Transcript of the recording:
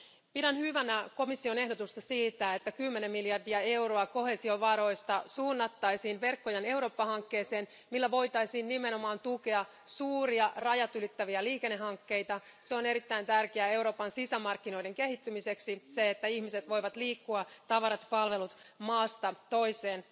Pidän hyvänä komission ehdotusta siitä, että kymmenen miljardia euroa koheesiovaroista suunnattaisiin Verkkojen Eurooppa hankkeeseen, millä voitaisiin nimenomaan tukea suuria rajatylittäviä liikennehankkeita. On erittäin tärkeää Euroopan sisämarkkinoiden kehittymiseksi, että ihmiset, tavarat ja palvelut voivat liikkua maasta toiseen.